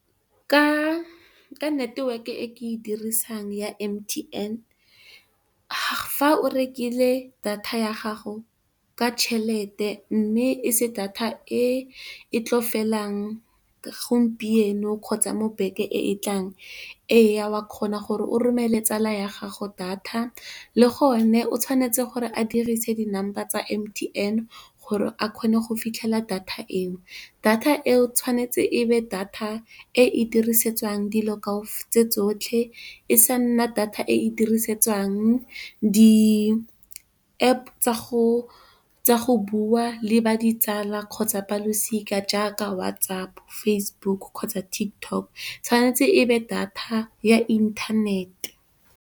Ka network e ke e dirisang ya M_T_N fa o rekile data ya gago ka tšhelete mme e se data e e tlo felang gompieno, kgotsa mo beke e e tlang ee, o a kgona gore o romele tsala ya gago data, le gone o tshwanetse gore a dirise di number tsa M_T_N gore a kgone go fitlhela data eo. Data eo tshwanetse e nne data e e dirisetswang dilo tse tsotlhe e sa nna data e e dirisetswang di App tsa go bua le ditsala kgotsa balosika jaaka WhatsApp, Facebook kgotsa TikTok, tshwanetse e be data ya inthanete.